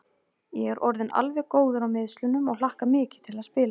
Ég er orðinn alveg góður á meiðslunum og hlakka mikið til að spila.